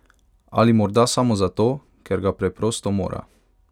Ali morda samo zato, ker ga preprosto mora?